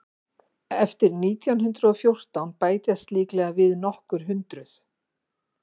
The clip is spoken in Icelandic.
eftir nítján hundrað og fjórtán bætast líklega við nokkur hundruð